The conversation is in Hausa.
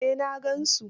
Eh, na gan su.